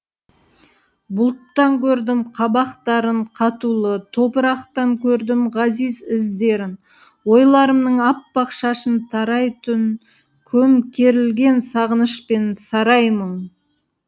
бұлттан көрдім қабақтарын қатулы топырақтан көрдім ғазиз іздерін ойларымның аппақ шашын тарай түн көмкерілген сағынышпен сарай мұң